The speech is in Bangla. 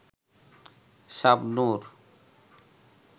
শাবনুর